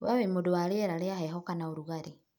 Wee wĩ mũndũ wa rĩera rĩ rĩa heho kana ũrugarĩ?